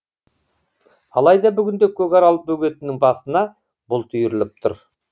алайда бүгінде көкарал бөгетінің басына бұлт үйіріліп тұр